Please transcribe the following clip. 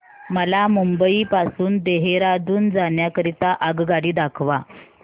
मला मुंबई पासून देहारादून जाण्या करीता आगगाडी दाखवा